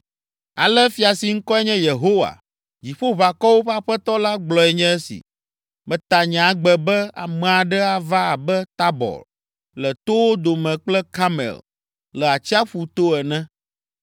Ale fia si ŋkɔe nye Yehowa, Dziƒoʋakɔwo ƒe Aƒetɔ la, gblɔe nye esi: “Meta nye agbe be ame aɖe ava abe Tabɔr le towo dome kple Karmel le atsiaƒu to ene.